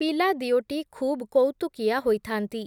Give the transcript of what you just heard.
ପିଲାଦିଓଟି ଖୁବ୍, କଉତୁକିଆ ହୋଇଥାନ୍ତି ।